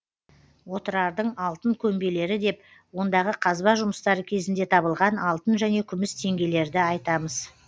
отырардың алтын көмбелері деп ондағы қазба жұмыстары кезінде табылған алтын және күміс теңгелерді айтамыз